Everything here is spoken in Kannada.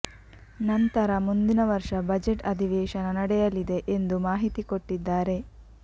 ನಂತರ ಮುಂದಿನ ವರ್ಷ ಬಜೆಟ್ ಅಧಿವೇಶನ ನಡೆಯಲಿದೆ ಎಂದು ಮಾಹಿತಿ ಕೊಟ್ಟಿದ್ದಾರೆ